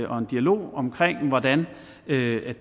og en dialog om hvordan det